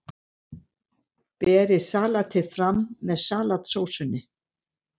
Berið salatið fram með salatsósunni.